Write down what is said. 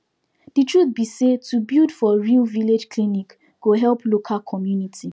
de truth be say to build for real village clinic go help local community